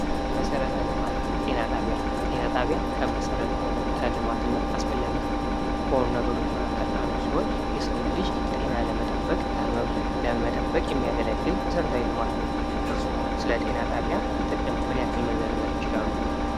መሰረተ ልማት ጤና ጣቢያ ጤና ጣቢያ ከመሰረተ ልማት እና አስፈላጊ ከሆኑ ነገሮች መካከል አንዱ ሲሆን የሰውን ልጅ ጤና ለመጠበቅ ከህመም ለመጠበቅ የሚያገለግል መሰረታዊ ልማት ነው። እርስዎ ስለ ጤና ጣቢያ ጥቅም ምን ያክል መዘርዝር ይችላሉ?